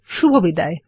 শুভবিদায়